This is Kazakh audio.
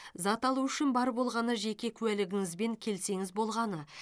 зат алу үшін бар болғаны жеке куәлігіңізбен келсеңіз болғаны